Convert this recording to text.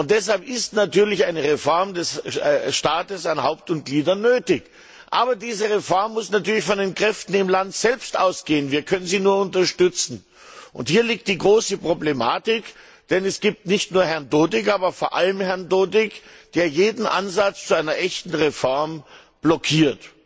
Deshalb ist natürlich eine Reform des Staates an Haupt und Gliedern nötig. Aber diese Reform muss von den Kräften im Land selbst ausgehen, wir können sie dabei nur unterstützen. Hier liegt die große Problematik. Denn es gibt nicht nur Herrn Dodik, aber vor allem Herrn Dodik, der jeden Ansatz zu einer echten Reform blockiert.